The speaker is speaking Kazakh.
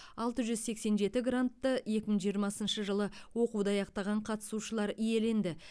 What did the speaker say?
алт жүз сексен жеті грантты екі мың жиырмасыншы жылы оқуды аяқтаған қатысушылар иеленді